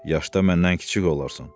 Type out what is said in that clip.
Yaşda məndən kiçik olarsan.